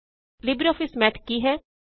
LibreOffice Math ਕੀ ਹੈ